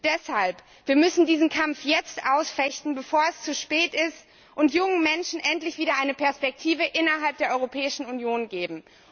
Deshalb Wir müssen diesen Kampf jetzt ausfechten, bevor es zu spät ist, und jungen Menschen endlich wieder eine Perspektive innerhalb der Europäischen Union geben.